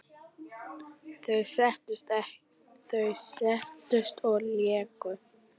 Þeir settust og léku.